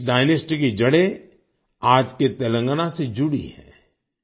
इस डायनास्टी की जड़ें आज के तेलंगाना से जुड़ी हैं